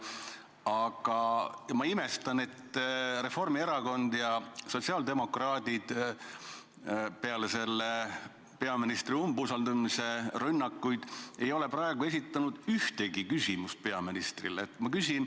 Aga ma imestan, et Reformierakond ja sotsiaaldemokraadid peale peaministri umbusaldamise rünnakuid ei ole praegu esitanud ühtegi küsimust peaministrile.